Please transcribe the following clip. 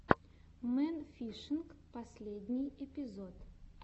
мэн фишинг последний эпизод